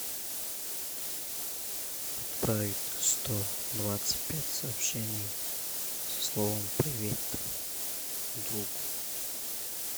отправить сто двадцать пять сообщений со словом привет другу